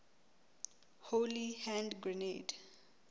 holy hand grenade